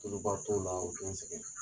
Tuluba t'o la o tɛ n sɛgɛn